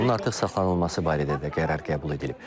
Onun artıq saxlanılması barədə də qərar qəbul edilib.